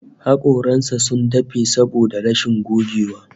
Hakoran sa sun dafe saboda rashin gogewa